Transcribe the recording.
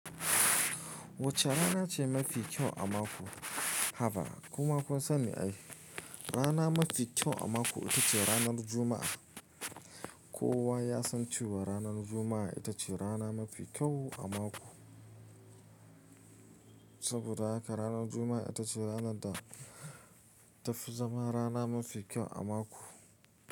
Wacce rana ce mafi kyau a mako? Haba kuma kun sani ai rana mafi kyau a mako ita ce ranar Juma'a. Kowa ya san cewa ranar Juma'a ita ce rana mafi kyau a mako. Saboda haka ranar Juma'a ita ce rana da ta fi zama rana mafi kyau a mako.